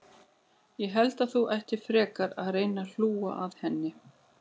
Ég held þú ættir frekar að reyna að hlúa að henni.